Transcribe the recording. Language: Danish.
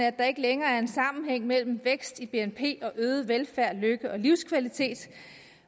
at der ikke længere er en sammenhæng mellem vækst i bnp og øget velfærd lykke og livskvalitet